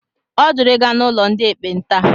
Ọ jụrụ ịga n'ụlọ ndị ekpenta.